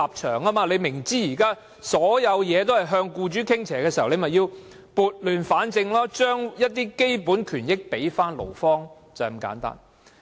政府明知現時所有政策也向僱主傾斜，便應撥亂反正，將基本權益交回勞方，便是這麼簡單。